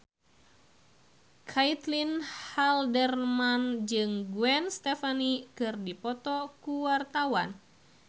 Caitlin Halderman jeung Gwen Stefani keur dipoto ku wartawan